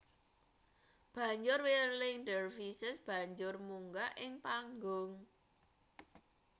banjur whirling dervishes banjur munggah ing panggung